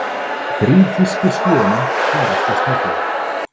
Þrír þýskir skíðamenn farast í snjóflóði